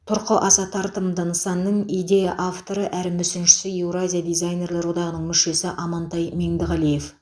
тұрқы аса тартымды нысанның идея авторы әрі мүсіншісі еуразия дизайнерлер одағының мүшесі амантай меңдіғалиев